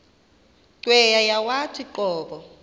cweya yawathi qobo